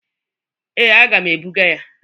Ee, aga m ebụga ya.